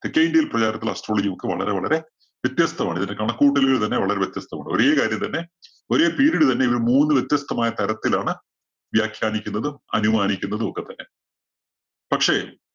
തെക്കേ ഇന്ത്യയിൽ പ്രചാരത്തിലുള്ള astrology ഒക്കെ വളരെ വളരെ വ്യത്യസ്തമാണ്. ഇതിന്റെ കണക്കുകൂട്ടലുകൾ തന്നെ വളരെ വ്യത്യസ്തമാണ്. ഒരേ കാര്യം തന്നെ ഒരേ period തന്നെ ഇവര് മൂന്ന് വ്യത്യസ്തമായ തരത്തിലാണ് വ്യാഖ്യാനിക്കുന്നതും അനുമാനിക്കുന്നതുമൊക്കെത്തന്നെ. പക്ഷേ